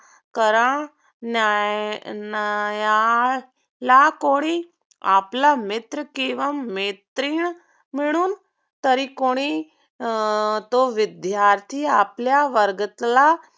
करणार्‍याला कोणी आपला मित्र किंवा मैत्रीण मिळून तरी कोणी तो अं विद्यार्थी आपल्या वर्गातला